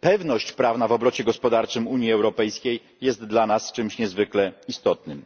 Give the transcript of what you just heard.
pewność prawna w obrocie gospodarczym Unii Europejskiej jest dla nas czymś niezwykle istotnym.